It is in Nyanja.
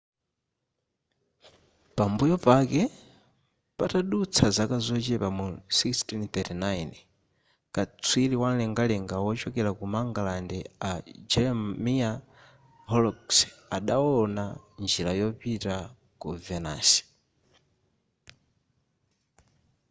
pambuyo pake patadutsa zaka zochepa mu 1639 katswiri wamlengalenga wochokera ku mangalande a jeremiah horrocks adawona njira yopita ku venus